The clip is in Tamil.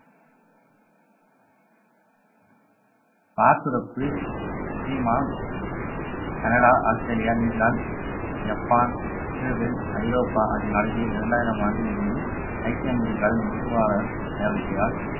பாசுரப்பு China Canada Australia New Zealand Japan Israel Europe ஆகிய நாடுகளில் இரண்டாயிரம் ஆண்டிலிருந்து ஐக்கிய அமெரிக்காவில் நுகர்வாளர் தேவையால்